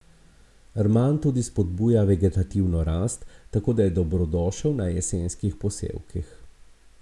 Rman tudi spodbuja vegetativno rast, tako da je dobrodošel na jesenskih posevkih.